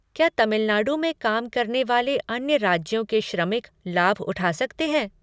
क्या तमिलनाडु में काम करने वाले अन्य राज्यों के श्रमिक लाभ उठा सकते हैं?